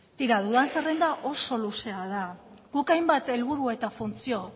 tira duden zerrenda oso luzea da guk hainbat helburu eta funtzio